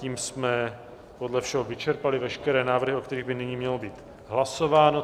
Tím jsme podle všeho vyčerpali veškeré návrhy, o kterých by nyní mělo být hlasováno.